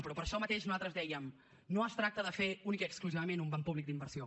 però per això mateix nosaltres dèiem no es tracta de fer únicament i exclusivament un banc públic d’inversió